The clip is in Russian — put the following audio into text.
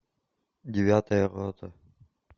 девятая рота